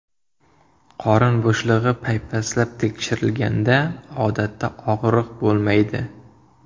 Qorin bo‘shlig‘i paypaslab tekshirilganda, odatda og‘riq bo‘lmaydi.